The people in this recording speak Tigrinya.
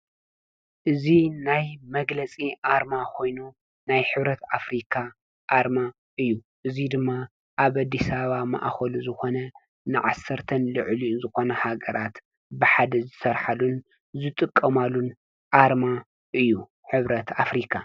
እዚ ናይ መግለፂ ኣርማ ኮይኑ ናይ ሕብረት ኣፍሪካ ኣርማ እዩ:: እዙይ ድማ ኣብ ኣዲስ ኣባባ ማእኸሉ ዝኾነ ን10ን ልዕሊኡ ዝኾና ሃነራት ብሓደ ዝሰርሓሉን ዝጥቀማሉን ኣርማ እዩ፡፡ ሕብረት ኣፍሪካ ።